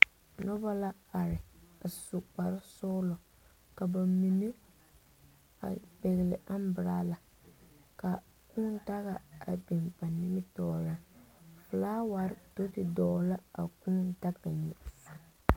Noba la are a su kpare sɔglo ka ba mine a pegle aŋburala ka kūū daga a biŋ ba nimitɔɔre flower do te dogle la a kūū daga nyɛ eŋa.